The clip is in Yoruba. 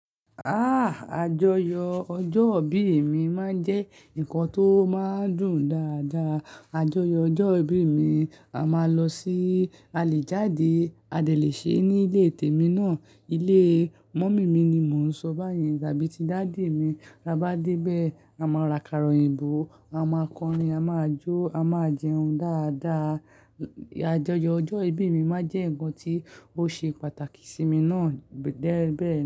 Ah! Àjọyọ̀ ọjọ́ ìbí mi máa jẹ́ nǹkan tó máa dùn dáadáa. Àjọyọ̀ ọjọ́ ìbí mi, a máa lọ sí àlejàde, a lè ṣe ní ilé tèmi náà, ilé mọ̀mí mi ni mo ń sọ báyìí tàbí ti dáádì mi. A bá dé bẹ́ẹ̀, a máa ra karòyìn bó, a máa kọrin, a máa jó, a máa jẹun dáadáa. Àjọyọ̀ ọjọ́ ìbí mi máa jẹ́ ǹkan tó ṣe pàtàkì sí mi náà bẹ́ẹ̀ bẹ́ẹ̀.